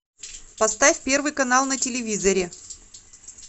поставь первый канал на телевизоре